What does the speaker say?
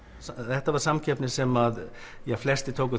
þetta var samkeppni sem flestir tóku